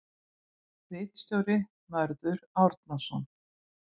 Ritstjóri Mörður Árnason.